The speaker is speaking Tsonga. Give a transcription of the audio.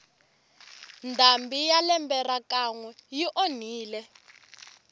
ndhambi ya lembe ra ka nwe yi onhile